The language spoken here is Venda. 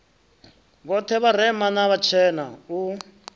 vhoṱhe vharema na vhatshena u